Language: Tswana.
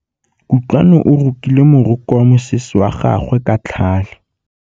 Kutlwanô o rokile morokô wa mosese wa gagwe ka tlhale.